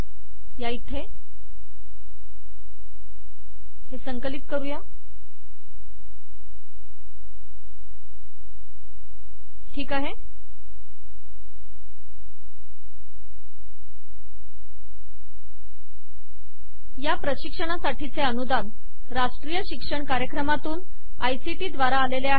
या प्रशिक्षणासाठीचे अनुदान राष्ट्रीय शिक्षण कार्यक्रमातून आयसीटी द्वारा आलेले आहे